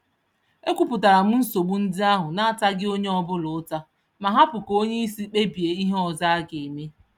E kwupụtaram nsogbu ndị ahụ nataghị onye ọbula ụta, ma hapụ ka onyeisi kpebie ihe ọzọ ageme